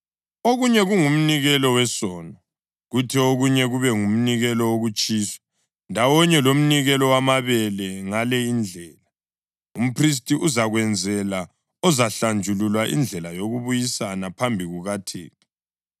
okunye kungumnikelo wesono, kuthi okunye kube ngumnikelo wokutshiswa, ndawonye lomnikelo wamabele. Ngale indlela, umphristi uzakwenzela ozahlanjululwa indlela yokubuyisana phambi kukaThixo.”